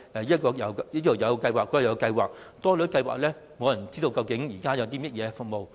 由於計劃數目眾多，以致無人知道現時究竟有些甚麼服務？